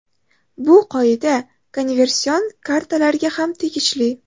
Bu qoida konversion kartalarga ham tegishli .